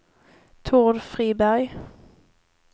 Tord Friberg